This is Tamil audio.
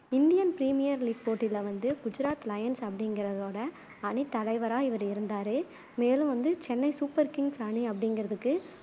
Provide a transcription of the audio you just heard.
indian premier league போட்யில வந்து குஜராத் லயன்சு அப்படிங்குறதோட அணித் தலைவரா இவரு இருந்தாரு. மேலும் வந்து சென்னை சூப்பர் கிங்ஸ் அணி அப்படிங்குறதுக்கு